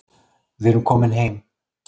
Við erum komin heim